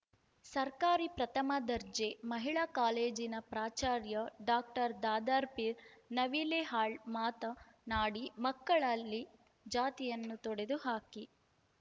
ಸರ್ಕಾರಿ ಪ್ರಥಮ ದರ್ಜೆ ಮಹಿಳಾ ಕಾಲೇಜಿನ ಪ್ರಾಚಾರ್ಯ ಡಾಕ್ಟರ್ ದಾದಾರ್ಪಿರ್ ನವಿಲೇಹಾಳ್‌ ಮಾತ ನಾಡಿ ಮಕ್ಕಳಲ್ಲಿ ಜಾತಿಯನ್ನು ತೊಡೆದು ಹಾಕಿ